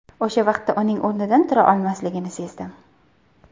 O‘sha vaqtda uning o‘rnidan tura olmasligini sezdim.